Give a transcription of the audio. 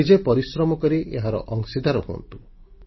ନିଜେ ପରିଶ୍ରମ କରି ଏହାର ଅଂଶୀଦାର ହୁଅନ୍ତୁ